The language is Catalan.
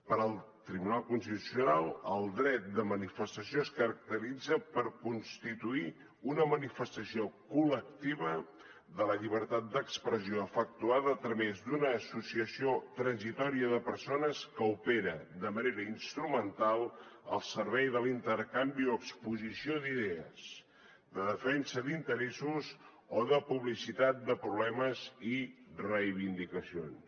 per al tribunal constitucional el dret de manifestació es caracteritza per constituir una manifestació col·lectiva de la llibertat d’expressió efectuada a través d’una associació transitòria de persones que opera de manera instrumental al servei de l’intercanvi o exposició d’idees de defensa d’interessos o de publicitat de problemes i reivindicacions